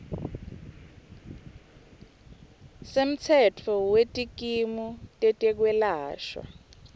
semtsetfo wetikimu tetekwelashwa